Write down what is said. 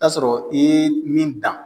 t'a sɔrɔ i ye min dan.